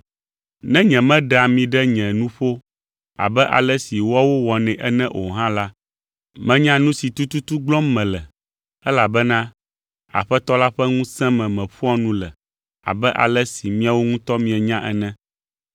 Ne nyemeɖea ami ɖe nye nuƒo abe ale si woawo wɔnɛ ene o hã la, menya nu si tututu gblɔm mele elabena Aƒetɔ la ƒe ŋusẽ me meƒoa nu le abe ale si miawo ŋutɔ mienya ene.